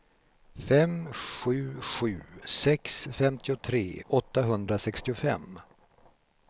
fem sju sju sex femtiotre åttahundrasextiofem